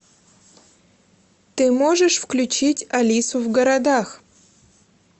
ты можешь включить алису в городах